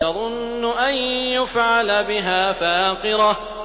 تَظُنُّ أَن يُفْعَلَ بِهَا فَاقِرَةٌ